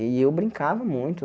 E eu brincava muito.